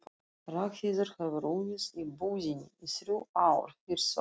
Ragnheiður hefur unnið í búðinni í þrjú ár, fyrst sögð